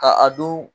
Ka a don